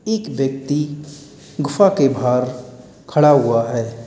एक व्यक्ति गुफा के बाहर खड़ा हुआ है।